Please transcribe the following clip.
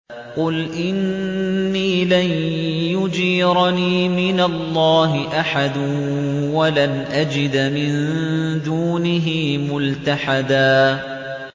قُلْ إِنِّي لَن يُجِيرَنِي مِنَ اللَّهِ أَحَدٌ وَلَنْ أَجِدَ مِن دُونِهِ مُلْتَحَدًا